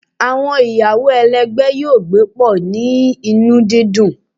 Awọn iyawo ẹlẹgbẹ yoo gbe pọ ni inu didun